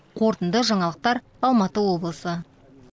қорытынды жаңалықтар алматы облысы